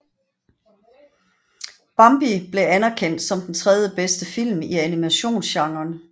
Bambi blev anerkendt som den tredje bedste film i animationsgenren